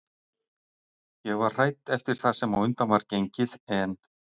Ég var hrædd eftir það sem á undan var gengið en